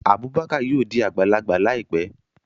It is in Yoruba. Abubakar yóò di agbalagba laipe